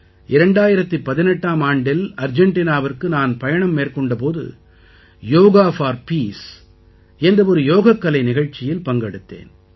2018ஆம் ஆண்டில் அர்ஜெண்டினாவிற்கு நான் பயணம் மேற்கொண்ட போது யோகா போர் பீஸ் என்ற ஒரு யோகக்கலை நிகழ்ச்சியில் பங்கெடுத்தேன்